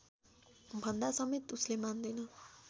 भन्दासमेत उसले मान्दैन